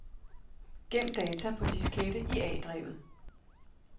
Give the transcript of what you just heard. Gem data på diskette i A-drevet.